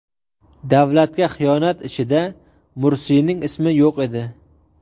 Davlatga xiyonat ishida Mursiyning ismi yo‘q edi.